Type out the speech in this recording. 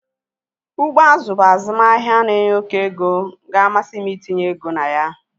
Azụ ugbo bụ azụmahịa na-enye oké ego ga-amasị m itinye ego na ya